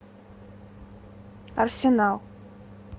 арсенал